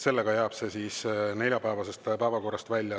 Seega jääb see neljapäevasest päevakorrast välja.